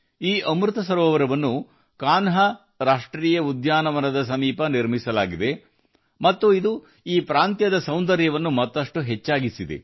ಈ ಅಮೃತ ಸರೋವರವನ್ನು ಕನ್ಹಾ ರಾಷ್ಟ್ರೀಯ ಉದ್ಯಾನವನದ ಬಳಿ ನಿರ್ಮಿಸಲಾಗಿದೆ ಮತ್ತು ಇದರಿಂದಾಗಿ ಈ ಪ್ರದೇಶದ ಸೌಂದರ್ಯವನ್ನು ಮತ್ತಷ್ಟು ಹೆಚ್ಚಿಸಿದೆ